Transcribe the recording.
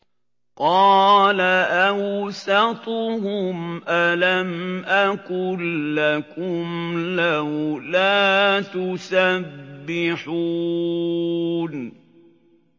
قَالَ أَوْسَطُهُمْ أَلَمْ أَقُل لَّكُمْ لَوْلَا تُسَبِّحُونَ